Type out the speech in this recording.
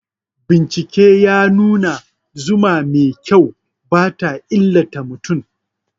Bincike ya nuna zuma mai kyau ba ta illata mutum.